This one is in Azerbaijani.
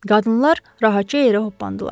Qadınlar rahatca yerə hoppandılar.